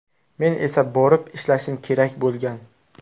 Men esa borib ishlashim kerak bo‘lgan.